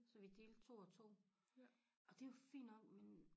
Så vi delte 2 og 2 og det var fint nok men